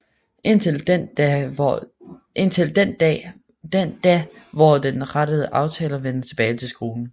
Indtil den da hvor den rette aftager vender tilbage til skolen